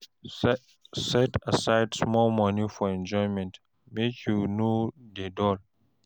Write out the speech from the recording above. Set aside small moni for enjoyment, make you no dey dull.